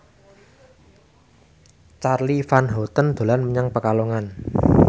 Charly Van Houten dolan menyang Pekalongan